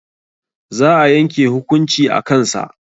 Za a yanke hukunci a kan sa